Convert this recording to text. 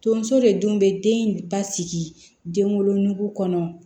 Tonso de dun be den in basigi den wolonugu kɔnɔ